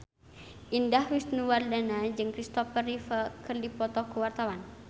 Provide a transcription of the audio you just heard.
Indah Wisnuwardana jeung Christopher Reeve keur dipoto ku wartawan